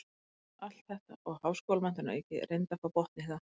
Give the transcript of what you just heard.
Allt þetta og háskólamenntun að auki, reyndu að fá botn í það.